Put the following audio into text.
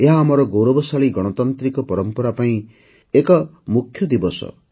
ଏହା ଆମର ଗୌରବଶାଳୀ ଗଣତାନ୍ତ୍ରିକ ପରମ୍ପରା ପାଇଁ ଏକ ମୁଖ୍ୟ ଦିବସ